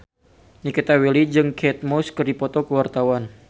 Nikita Willy jeung Kate Moss keur dipoto ku wartawan